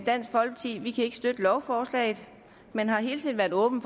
dansk folkeparti kan ikke støtte lovforslaget men har hele tiden været åbne